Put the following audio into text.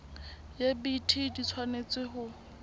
ya bt di tshwanetse ho